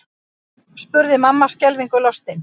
spurði mamma skelfingu lostin.